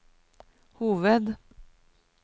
hoved